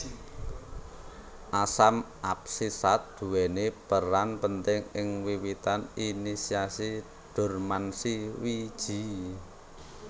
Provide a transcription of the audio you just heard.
Asam absisat duweni peran penting ing wiwitan inisiasi dormansi wiji